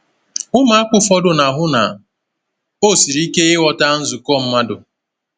Ụmụaka ụfọdụ na-ahụ na ọ siri ike ịghọta nzukọ mmadụ.